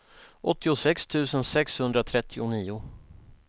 åttiosex tusen sexhundratrettionio